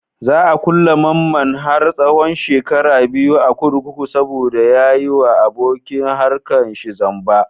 Za a ƙulle mamman har tsahon shekara biyu a kurkuku saboda ya yi wa abokin harkar shi zamba.